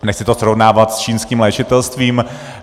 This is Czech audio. Nechci to srovnávat s čínským léčitelstvím.